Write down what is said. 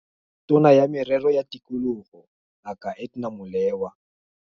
Tona ya Merero ya Tikologo Ngaka Edna Molewa.